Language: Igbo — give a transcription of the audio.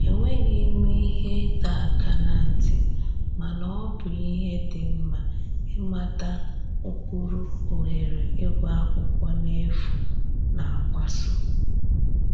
E nweghị ihe ịdọ aka na ntị, mana ọ bụ ihe dị nma ịmata ụkpụrụ ohere ịgụ akwụkwọ n'efu na-agbaso